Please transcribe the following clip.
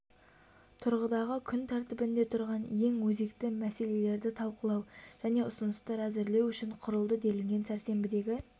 тұрғыдағы күн тәртібінде тұрған ең өзекті мәселелерді талқылау және ұсыныстар әзірлеу үшін құрылды делінген сәрсенбідегі